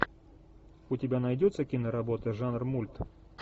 у тебя найдется киноработа жанр мульт